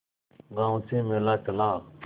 गांव से मेला चला